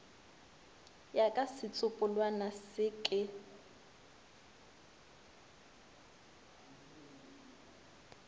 ya ka setsopolwana se ka